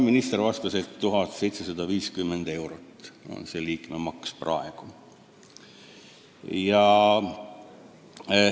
Minister vastas, et see liikmemaks on 1750 eurot.